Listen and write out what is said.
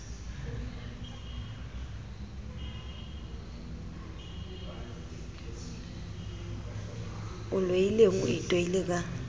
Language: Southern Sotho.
o loileng o itoile ka